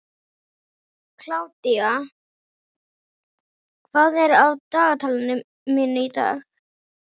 Kládía, hvað er á dagatalinu mínu í dag?